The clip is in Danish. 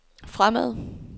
fremad